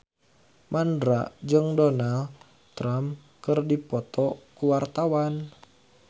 Mandra jeung Donald Trump keur dipoto ku wartawan